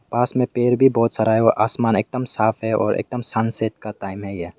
पास में पेड़ भी बहुत सारा है और आसमान भी एकदम साफ है और एकदम सनसेट का टाइम है यह।